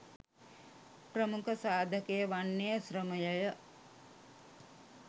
ප්‍රමුඛ සාධකය වන්නේ ශ්‍රමය ය